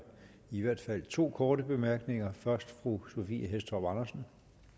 i hvert fald to korte bemærkninger først fru sophie hæstorp andersen